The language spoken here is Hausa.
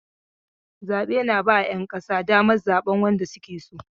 Zabe ba 'ƴan ƙasa daman zaɓan wanda suke so.